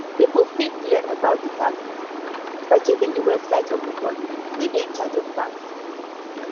pipo fit learn about di yax system by checking di website of di body wey dey in charge of tax